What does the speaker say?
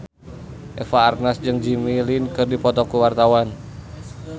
Eva Arnaz jeung Jimmy Lin keur dipoto ku wartawan